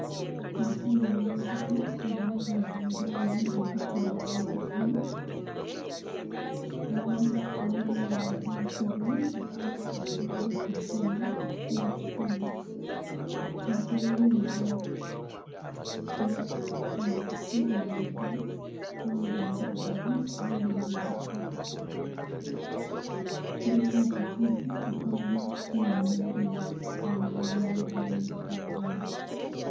Omukyala ow'olubuto agalamidde ku mugongo gwe ng'abikudde olubuto lwe, emabbali waliwo omuntu atuddewo atadde omukono gwe ku kyuma ekikola sikaani, omukono gwe ogwa kkono nga yagusiiga enjala langi enzirugavu, ayambadde empeta n'essaawa. Kuliko akativvi akalaga sikaani by'eri mu kusikaaninga mu lubuto lw'omukyala ono.